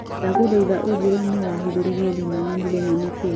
ndagũthaĩtha ũjire nũũ wahĩthũrĩrĩe thimũ na mũthenya nĩ kĩĩ